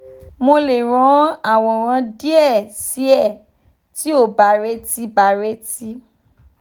mo le ran aworan die si e ti o ba reti ba reti